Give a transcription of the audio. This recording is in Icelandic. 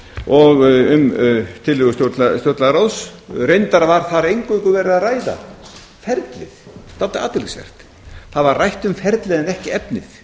og um tillögur stjórnlagaráðs reyndar var þar eingöngu verið að ræða um ferlið það er dálítið athyglisvert það var rætt um ferlið en ekki efnið